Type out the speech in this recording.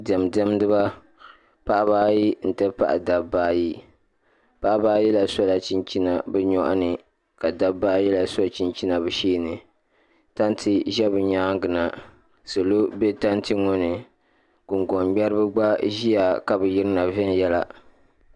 Diɛma diɛmdiba paɣiba ayi nti pahi dabba ayi paɣiba ayi la sola chinchina bɛ nyɔɣu ni ka dabba ayi la so chinchina bɛ shee ni tanti ʒe bɛ nyaaŋa na salo be tanti ŋɔ ni guŋgɔn'ŋmɛriba gba ʒiya ka bi yirina viɛnyɛla.